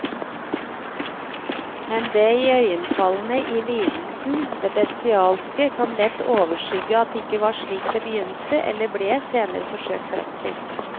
Men det iøynefallende i lidelsen, det bestialske, kan lett overskygge at det ikke var slik det begynte eller ble senere forsøkt fremstilt.